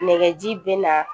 Nɛgɛji bɛ na